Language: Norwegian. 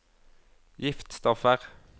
giftstoffer